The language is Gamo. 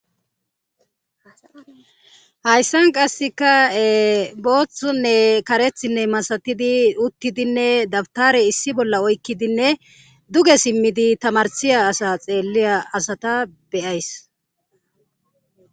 Hayssan qasseka booththunne karethinne masatidi uttidinne dabtare issi bolla oykkidinne duge simmidi tamarsiya asa xeelliya asata beyays.